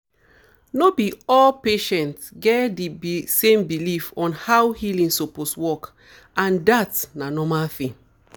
no be all patients get di same belief on how healing suppose work and dat na normal thing